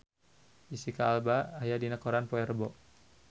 Jesicca Alba aya dina koran poe Rebo